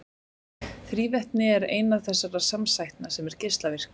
Þrívetni er eina þessara samsætna sem er geislavirk.